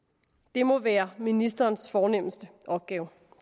det må være ministerens fornemste opgave